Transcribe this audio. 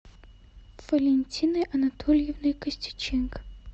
валентиной анатольевной костюченко